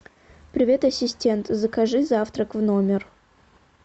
привет ассистент закажи завтрак в номер